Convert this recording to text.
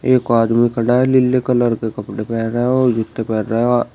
एक आदमी खड़ा है नीले कलर के कपड़े पहना है और जूते पहना है।